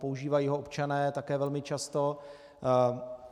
Používají ho občané také velmi často.